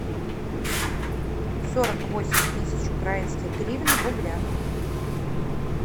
сорок восемь тысяч украинских гривен в рублях